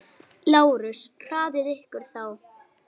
LÁRUS: Hraðið ykkur þá!